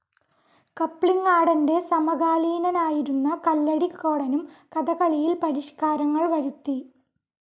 കപ്ലിങ്ങാടൻ്റെ സമകാലീനനായിരുന്ന കല്ലടിക്കോടനും കഥകളിയിൽ പരിഷ്‌കാരങ്ങൾ വരുത്തി